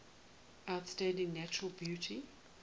outstanding natural beauty